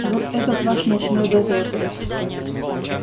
вот этот ваш ночной дозор